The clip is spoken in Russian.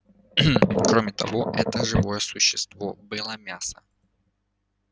кроме того это живое существо было мясо